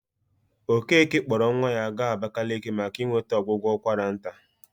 Okeke kpọrọ nwa ya gaa Abakaliki maka inweta ọgwụgwọ ụkwara nta.